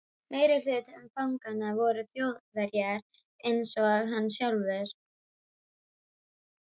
Meirihluti fanganna voru Þjóðverjar einsog hann sjálfur.